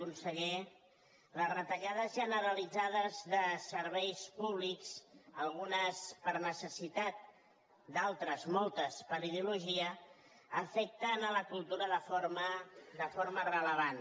conseller les retallades generalitzades de serveis públics algunes per necessitat d’altres moltes per ideologia afecten la cultura de forma rellevant